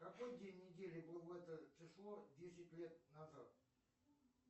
какой день недели был в это число десять лет назад